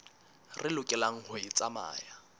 re lokelang ho e tsamaya